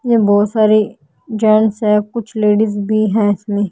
यहां बहुत सारे जेंट्स हैं कुछ लेडिस भी है इसमें--